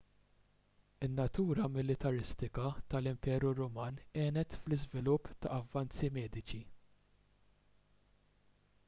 in-natura militaristika tal-imperu ruman għenet fl-iżvilupp ta' avvanzi mediċi